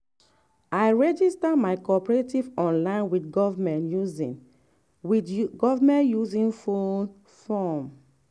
i register my cooperative online with government using with government using phone form.